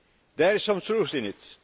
There is some truth in this.